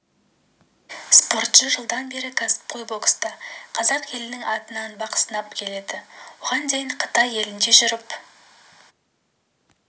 спортшы жылдан бері кәсіпқой бокста қазақ елінің атынан бақ сынап келеді оған дейін қытай елінде жүріп